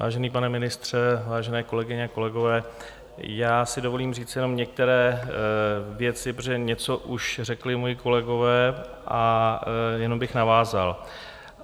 Vážený pane ministře, vážené kolegyně a kolegové, já si dovolím říci jenom některé věci, protože něco už řekli moji kolegové a jenom bych navázal.